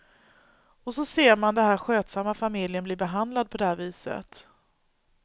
Och så ser man den här skötsamma familjen bli behandlad på det här viset.